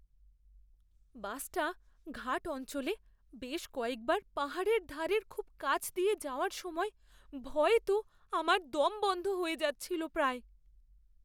বাসটা ঘাট অঞ্চলে বেশ কয়েকবার পাহাড়ের ধারের খুব কাছ দিয়ে যাওয়ার সময় ভয়ে তো আমার দম বন্ধ হয়ে যাচ্ছিল প্রায়।